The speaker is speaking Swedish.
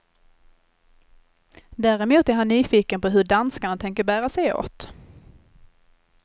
Däremot är han nyfiken på hur danskarna tänker bära sig åt.